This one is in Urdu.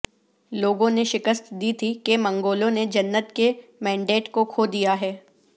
لوگوں نے شکست دی تھی کہ منگولوں نے جنت کے مینڈیٹ کو کھو دیا ہے